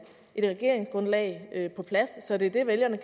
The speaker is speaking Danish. et regeringsgrundlag på plads så det er det vælgerne